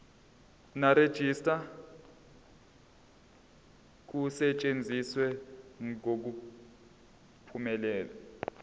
nerejista kusetshenziswe ngokuphumelela